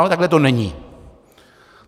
Ale takhle to není.